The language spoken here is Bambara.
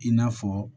I n'a fɔ